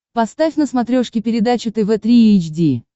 поставь на смотрешке передачу тв три эйч ди